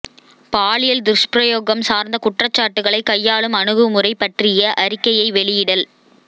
பாலியல் துஷ்பிரயோகம் சார்ந்த குற்றச்சாட்டுகளை கையாளும் அணுகுமுறை பற்றிய அறிக்கையை வெளியிடல்